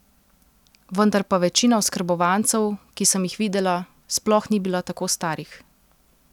Vendar pa večina oskrbovancev, ki sem jih videla, sploh ni bila tako starih.